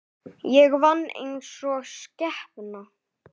Ég vann einsog skepna.